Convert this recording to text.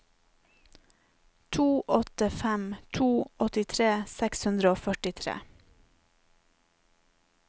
to åtte fem to åttitre seks hundre og førtitre